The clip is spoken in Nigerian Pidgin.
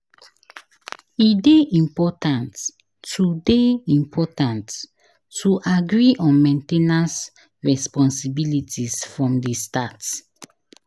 E dey important to dey important to agree on main ten ance responsibilities from the start.